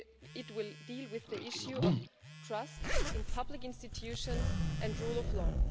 It will deal with the issue of trust in public institutions and rule of law.